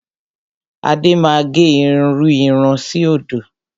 Adé máa gẹ irú irun síòdò.